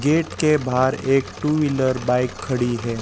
Gate के बाहर एक टू व्हीलर बाइक खड़ी है।